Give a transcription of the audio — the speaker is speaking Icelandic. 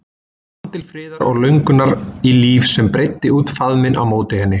Hún fann til friðar og löngunar í líf sem breiddi út faðminn á móti henni.